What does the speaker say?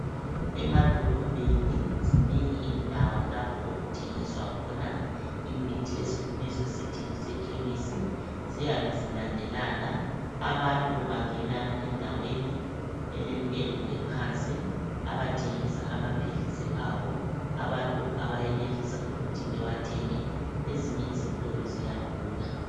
Emadolobheni zinengi indawo lapho okuthengiswa khona imithi esikubiza sithi kuseKhemisi. Ziyabe zilandelana, abantu bangena endaweni elentengo ephansi ,abathengisa amaphilisi abo abantu abayenelisa ukuthi bewathenge ezinye izitolo ziyadula.